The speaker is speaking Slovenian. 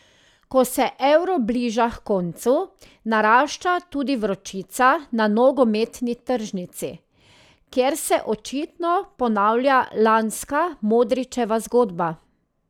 Ko se Euro bliža h koncu, narašča tudi vročica na nogometni tržnici, kjer se očitno ponavlja lanska Modrićeva zgodba.